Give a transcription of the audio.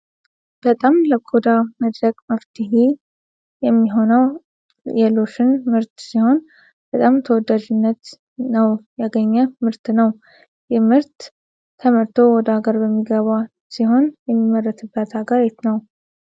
በጣም ለቆዳ መድረቅ መፍትሄ የሆነው የሉሽን ምርት ሲሆን በጣም ተወዳጅነት ነው ያገኘህ ምርት ነው። ይህ ምርት ትምህርቶ ወደ ሀገር የሚገባ ሲሆን የሚመረትበት አገር የት ነው?